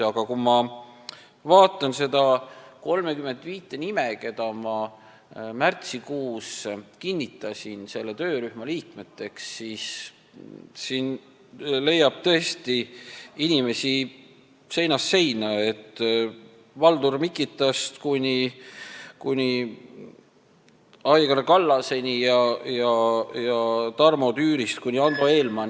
Aga kui ma vaatan neid 35 nime, kelle ma märtsikuus selle töörühma liikmeteks kinnitasin, siis siin leiab tõesti inimesi seinast seina: Valdur Mikitast kuni Aigar Kallaseni ja Tarmo Tüürist kuni Ando Eelmaani.